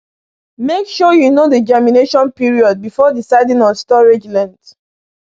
Make sure you know the germination period before deciding on storage length.